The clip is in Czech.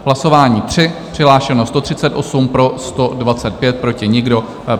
Hlasování 3, přihlášeno 138, pro 125, proti nikdo.